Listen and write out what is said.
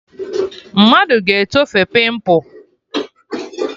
Mmadụ ga-etofe pịmpụ